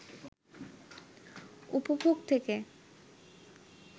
উপভোগ থেকে